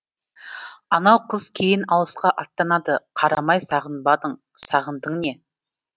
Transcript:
анау қыз кейін алысқа аттанады қарамай сағынбадың сағындың не